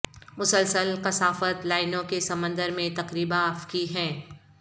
مسلسل کثافت لائنوں کے سمندر میں تقریبا افقی ہیں